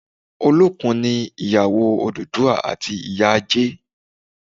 Olókun ni ìyàwó Odùduwà àti ìyá Ajé